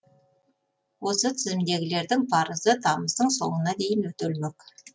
осы тізімдегілердің парызы тамыздың соңына дейін өтелмек